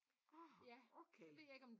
Ah okay